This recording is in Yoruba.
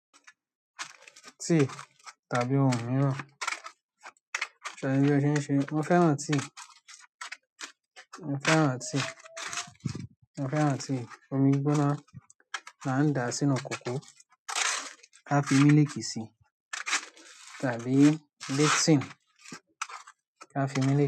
Tìi tàbí ohun mìíràn. Ṣẹ̀ bí ọ ṣe ń ṣe, mo fẹ́ràn tìi, mo fẹ́ràn tìi, mo fẹ́ràn tìi, omi gbóná là ń da sínú kòkó ká fi mílìkì si tàbí lipton ká fi mílìkì.